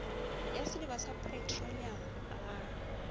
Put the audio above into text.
ya sediba sa petroleamo ga